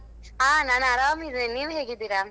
ಹ ನಾನ್ ಅರಾಮಿದೇನೆ. ನೀವ್ ಹೇಗಿದೀರಾ?